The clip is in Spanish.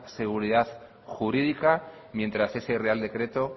seguridad jurídica mientras ese real decreto